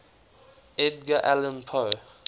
edgar allan poe